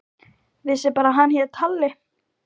Vissi bara að hann hét Halli.